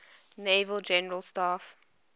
naval general staff